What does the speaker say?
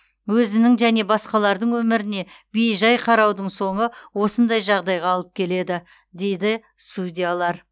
өзінің және басқалардың өміріне бей жай қараудың соңы осындай жағдайға алып келеді дейді судьялар